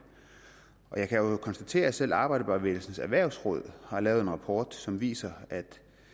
jeg kan jo konstatere at selv arbejderbevægelsens erhvervsråd har lavet en rapport som viser at